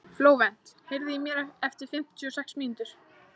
Flóvent, heyrðu í mér eftir fimmtíu og sex mínútur.